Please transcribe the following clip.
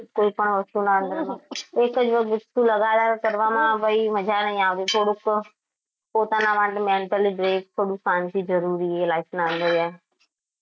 કોઈ પણ વસ્તુના એક જ વાર વસ્તુ લગાડ્યા કરવામાં આવ ઈ મજા નઈ આવ થોડુક પોતાના માટે mantaly break ક થોડું શાંતિ જરૂરી હ life ના અંદર.